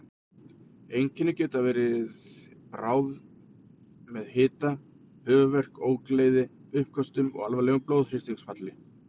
Einkennin geta líka verið bráð með hita, höfuðverk, ógleði, uppköstum og alvarlegu blóðþrýstingsfalli.